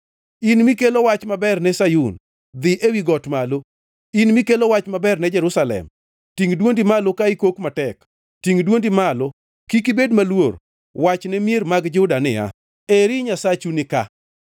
In mikelo wach maber ne Sayun, dhi ewi got malo. In mikelo wach maber ne Jerusalem, tingʼ dwondi malo ka ikok matek, tingʼ dwondi malo, kik ibed maluor; wach ne mier mag Juda niya, “Eri Nyasachu nika!”